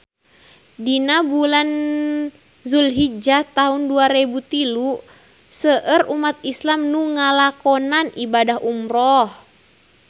Dina bulan Julhijah taun dua rebu tilu seueur umat islam nu ngalakonan ibadah umrah